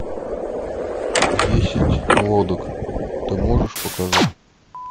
десять лодок ты можешь показать